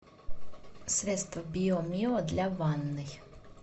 средство биомио для ванной